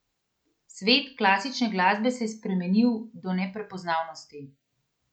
Svet klasične glasbe se je spremenil do neprepoznavnosti.